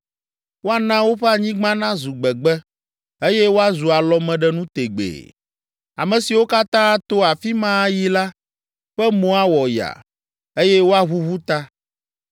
Woana woƒe anyigba nazu gbegbe, eye woazu alɔmeɖenu tegbee. Ame siwo katã ato afi ma ayi la, ƒe mo awɔ yaa, eye woaʋuʋu ta.